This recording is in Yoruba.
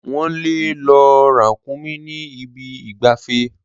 Wọ́n le lo ràkúnmí ní ibi ìgbafẹ́.